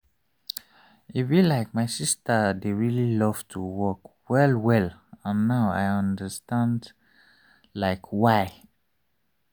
e be like my sister dey really love to walk well well and now i understand like why.